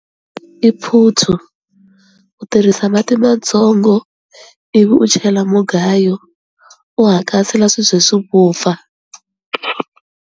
I phuthu u tirhisa mati matsongo ivi u chela mugayo u hakasela swi ze swi vupfa.